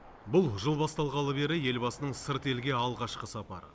бұл жыл басталғалы бері елбасының сырт елге алғашқы сапары